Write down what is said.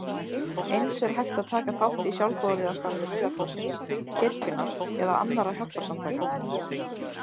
Eins er hægt að taka þátt í sjálfboðaliðastarfi Rauða krossins, kirkjunnar eða annarra hjálparsamtaka.